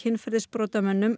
uppreist æru